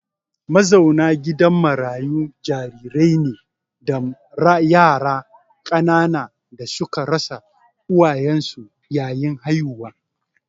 Mazauna gidan marayu jarirai ne da yara ƙanana da suka rasa uwayensu yayin haihuwa.